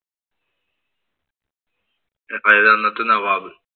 പഴയ അന്നത്തെ നവാബ്.